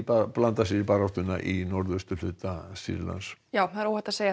blanda sér í baráttuna í norðausturhluta Sýrlands já það er óhætt að segja